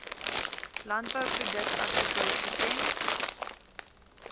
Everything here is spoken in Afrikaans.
landbouproduk artikel item